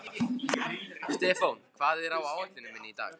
Stefán, hvað er á áætluninni minni í dag?